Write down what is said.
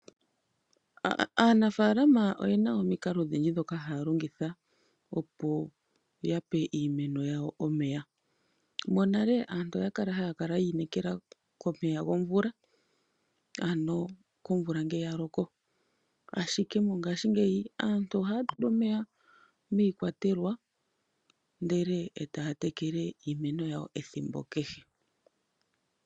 Aanafaalama oyena omikalo odhindji ndhoka haya longitha opo yape iimeno yawo omeya. Monale aantu oya kala haya kala yi inekela komeya gomvula ano komvula ngele ya loko. Ashike mongashingeyi aantu ohaya tula omeya miikwatelwa ndele eta ya tekele iimeno yawo ethimbo kehe.